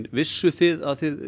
vissuð þið að þið